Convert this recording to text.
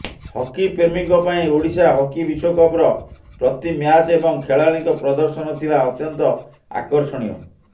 ହକିପ୍ରେମୀଙ୍କ ପାଇଁ ଓଡିଶା ହକି ବିଶ୍ବକପର ପ୍ରତି ମ୍ୟାଚ୍ ଏବଂ ଖେଳାଳିଙ୍କ ପ୍ରଦର୍ଶନ ଥିଲା ଅତ୍ୟନ୍ତ ଆକର୍ଷଣୀୟ